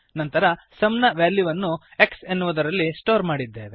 ನಂತರ ಸುಮ್ ನ ವ್ಯಾಲ್ಯುವನ್ನು x ಎನ್ನುವದರಲ್ಲಿ ಸ್ಟೋರ್ ಮಾಡಿದ್ದೇವೆ